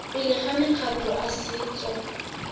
pele ga makgotla a setso